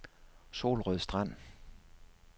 Solrød Strand